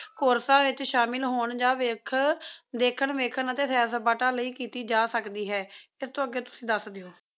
ਕੋਰਸਾਂ ਵਿੱਚ ਸ਼ਾਮਿਲ ਹੋਣ ਜਾਂ ਵਿੱਖ ਦੇਖਣ ਵੇਖਕਨ ਅਤੇ ਸੈਰ ਸਪਾਟਾ ਲਈ ਕੀਤੀ ਜਾ ਸਕਦੀ ਹੈ ਇਸ ਤੋਂ ਅੱਗੇ ਤੁਸੀਂ ਦੱਸ ਦਿਓ